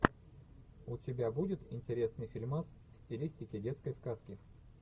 у тебя будет интересный фильмас в стилистике детской сказки